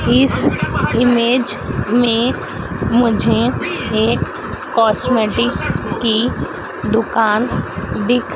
इस इमेज में मुझे एक कॉस्मेटिक की दुकान दिख--